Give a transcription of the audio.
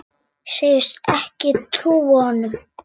Segist ekki trúa honum.